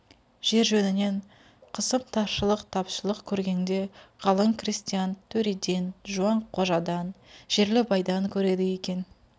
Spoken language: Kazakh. жер жөнінен қысым таршылық-тапшылық көргеңде қалың крестьян төреден жуан қожадан жерлі байдан көреді екен